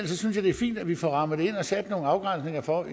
synes det er fint at vi får rammet det ind og sat nogle afgrænsninger for